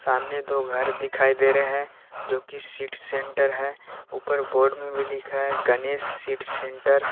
सामने दो घर दिखाई दे रहे हैं जोकि सीड सेंटर है ऊपर बोर्ड में भी लिखा है गणेश सीड सेंटर ।